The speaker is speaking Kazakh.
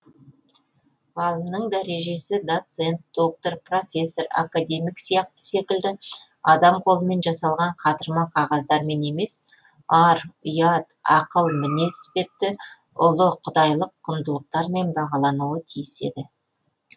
ғалымның дәрежесі доцент доктор профессор академик секілді адам қолымен жасалған қатырма қағаздармен емес ар ұят ақыл мінез іспетті ұлы құдаи лық құндылықтармен бағалануы тиіс еді